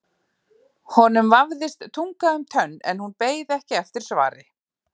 Honum vafðist tunga um tönn en hún beið ekki eftir svari.